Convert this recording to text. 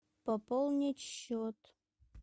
пополнить счет